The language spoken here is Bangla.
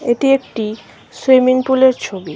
এটি একটি সুইমিং পুল -এর ছবি।